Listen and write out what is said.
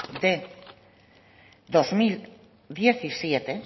de dos mil diecisiete